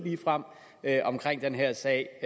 om den her sag